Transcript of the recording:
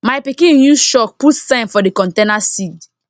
my pikin use chalk put sign for the container seed